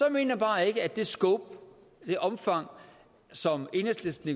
jeg bare ikke at det scope det omfang som enhedslisten